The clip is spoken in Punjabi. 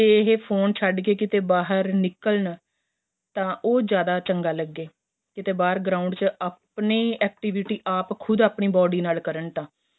ਜੇ ਏਹ ਫੋਨ ਛੱਡ ਕੇ ਬਹਾਰ ਨਿੱਕਲਣ ਤਾਂ ਉਹ ਜਿਆਦਾ ਚੰਗਾ ਲੱਗੇ ਕਿਥੇ ਬਹਾਰ ground ਚ ਆਪਣੇਂ ਹੀ activity ਆਪ ਹੀ ਆਪਣੀ body ਨਾਲ ਕਰਨ ਤਾਂ